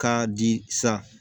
K'a di sa